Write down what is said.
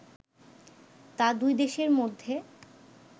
তা দুই দেশের মধ্যে